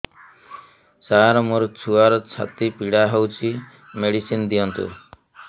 ସାର ମୋର ଛୁଆର ଛାତି ପୀଡା ହଉଚି ମେଡିସିନ ଦିଅନ୍ତୁ